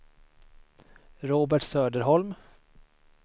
Robert Söderholm